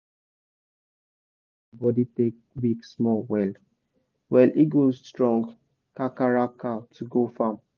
if person fit manage how him body take weak small well- well e go strong kakaraka to go farm